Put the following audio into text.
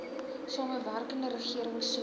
samewerkende regering soos